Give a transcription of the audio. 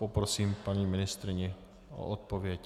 Poprosím paní ministryni o odpověď.